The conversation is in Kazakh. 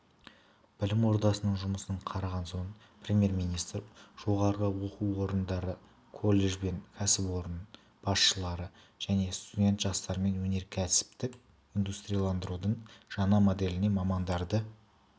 білім ордасының жұмысын қараған соң премьер-министр жоғары оқу орындары колледж бен кәсіпорын басшылары және студент жастармен өнеркәсіптік индустрияландырудың жаңа моделіне мамандарды